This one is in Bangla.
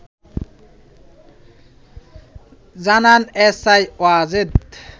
জানান এসআই ওয়াজেদ